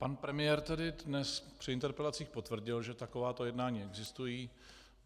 Pan premiér tady dnes při interpelacích potvrdil, že takováto jednání existují.